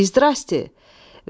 İzdravstvuyte!